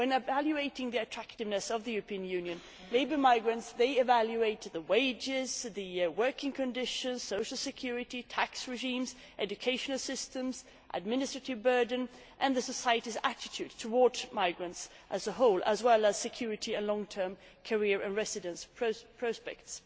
When evaluating the attractiveness of the European Union, labour market migrants evaluate the wages, the working conditions, social security, tax regimes, educational systems, administrative burden and the societies' attitudes towards migrants as a whole, as well as security and long term career and residence prospects.